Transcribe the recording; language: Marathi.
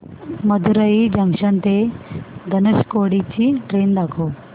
मदुरई जंक्शन ते धनुषकोडी ची ट्रेन दाखव